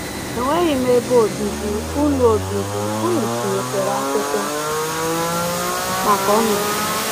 Enweghị m ebe obibi, ụnụ obibi, ụnụ tinyekwara akwụkwọ maka ọnọdụ m.